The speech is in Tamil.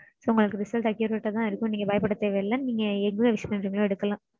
So உங்களுக்கு result accurate ஆ தா இருக்கும். நீங்க பயப்பட தேவையில்ல. நீங்க எதுல wish பண்றீங்களோ எடுக்கலாம்.